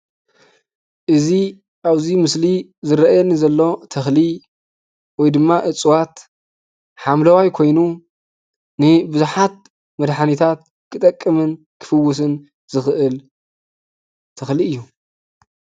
እዚ ኣብዚ ምስሊ ዝርአየኒ ዘሎ ተኽሊ ወይ ድማ እፅዋት ሓምለዋይ ኮይኑ ንቡዙሓት መድሓኒታት ክጠቅምን ክፍዉስን ዝኽእል ተኽሊ እዩ።